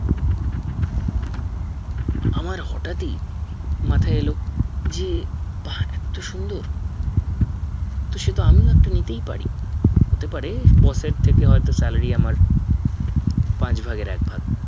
আমার হটাৎ ই মাথায় এলো যে বা এত্ত সুন্দর তো সেতো আমি ও একটা নিতেই পারি হতে পারে boss এর থেকে হয়তো salary আমার পাঁচ ভাগের এক ভাগ